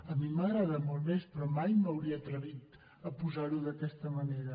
a mi m’agrada molt més però mai m’hauria atrevit posar ho d’aquesta manera